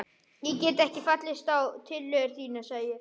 Ég get ekki fallist á tillögur þínar sagði ég.